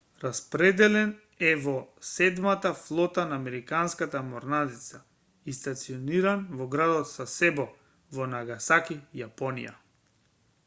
распределен е во седмата флота на американската морнарица и стациониран во градот сасебо во нагасаки јапонија